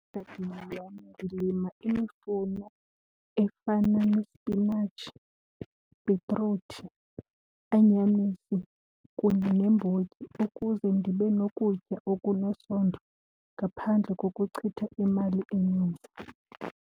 Egadini yam ndilima imifuno efana nesipinatshi, ibhitruthi, anyanisi kunye neembotyi ukuze ndibe nokutya okunesondlo ngaphandle kokuchitha imali eninzi.